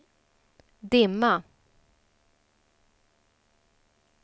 dimma